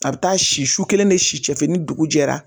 A bɛ taa si su kelen ne si cɛ fɛ ni dugu jɛra